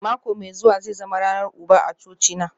Mako mai zuwa zai zama ranar uba a cocina